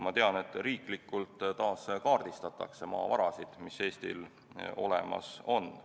Ma tean, et riiklikult taas kaardistatakse maavarasid, mis Eestil olemas on.